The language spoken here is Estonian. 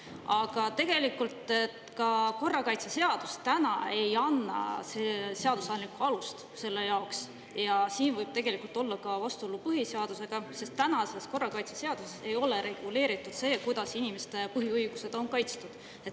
Aga tegelikult ka korrakaitseseadus täna ei anna seadusandlikku alust selle jaoks ja siin võib tegelikult olla ka vastuolu põhiseadusega, sest tänases korrakaitseseadus ei ole reguleeritud see, kuidas inimeste põhiõigused on kaitstud.